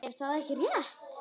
Er það ekki rétt?